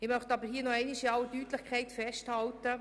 Ich möchte aber noch einmal in aller Deutlichkeit festhalten: